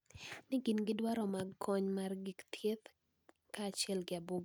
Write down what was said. Ni gin gi dwaro mar kony mag gik thieth kaachiel gi abuog rombe